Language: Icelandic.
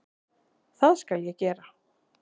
Það skal ég gera